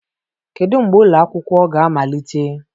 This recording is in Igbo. Kedu mgbe ụlọ akwụkwọ ga-amalite?